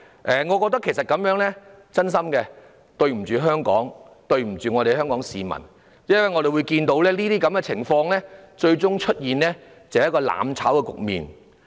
我真心覺得這樣的行為對不起香港，對不起香港市民。因為我們看到，這些情況最終會導致一個"攬炒"的局面。